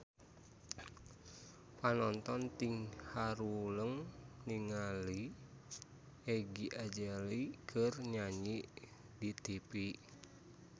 Panonton ting haruleng ningali Iggy Azalea keur nyanyi di tipi